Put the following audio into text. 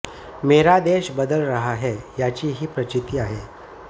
मेरा देश बदल रहा है याची ही प्रचिती आहे